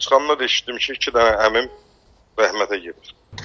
Çıxanda da eşitdim ki, iki dənə əmim rəhmətə gedib.